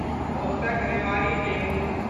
Rohtak Rewari DEMU